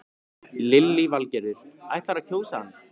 Lillý Valgerður: Ætlarðu að kjósa hann?